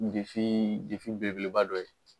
Defii defi belebeleba dɔ ye